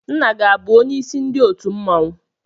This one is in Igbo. Nna gị abụ onyeisi ndị otu mmọnwụ?